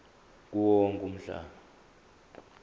kuwo wonke umhlaba